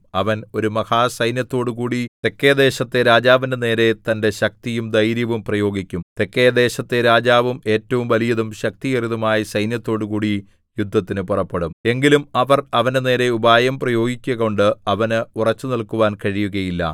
അവൻ ഒരു മഹാസൈന്യത്തോടുകൂടി തെക്കെദേശത്തെ രാജാവിന്റെ നേരെ തന്റെ ശക്തിയും ധൈര്യവും പ്രയോഗിക്കും തെക്കെദേശത്തെ രാജാവും ഏറ്റവും വലിയതും ശക്തിയേറിയതുമായ സൈന്യത്തോടുകൂടി യുദ്ധത്തിന് പുറപ്പെടും എങ്കിലും അവർ അവന്റെനേരെ ഉപായം പ്രയോഗിക്കുകകൊണ്ട് അവന് ഉറച്ചുനില്ക്കുവാൻ കഴിയുകയില്ല